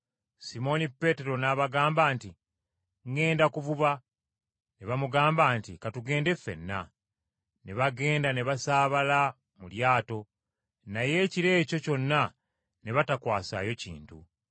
Simooni Peetero n’abagamba nti, “ŋŋenda kuvuba.” Ne bamugamba nti, “Ka tugende ffenna.” Ne bagenda ne basaabala mu lyato. Naye ekiro ekyo kyonna ne batakwasaayo kintu.